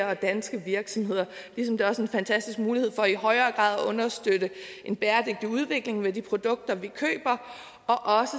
og danske virksomheder ligesom det også er en fantastisk mulighed for i højere grad at understøtte en bæredygtig udvikling i forbindelse de produkter vi køber og også